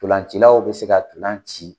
Ntolancilaw bɛ se ka ntolan ci